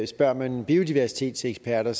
spørger man biodiversitetseksperter